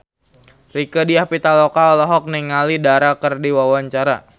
Rieke Diah Pitaloka olohok ningali Dara keur diwawancara